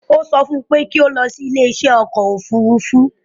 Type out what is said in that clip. Ó sọ fún un pé kí ó lọ sí ilé iṣẹ́ ọkọ̀ òfurufú